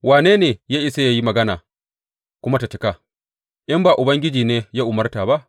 Wane ne ya isa yă yi magana kuma ta cika in ba Ubangiji ne ya umarta ba?